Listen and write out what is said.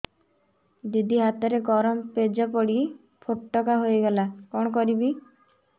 ଦିଦି ହାତରେ ଗରମ ପେଜ ପଡି ଫୋଟକା ହୋଇଗଲା କଣ କରିବି